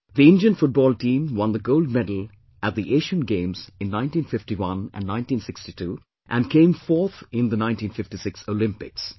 The Indian Football team won the gold medal at the Asian Games in 1951 and 1962, and came fourth in the 1956 Olympics